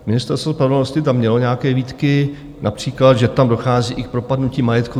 Ministerstvo spravedlnosti tam mělo nějaké výtky, například, že tam dochází i k propadnutí majetku.